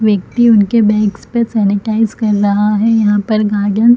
व्यक्ति उनके बैग्स पे सेनेटाइज कर रहा है यहाँ पर गार्डन --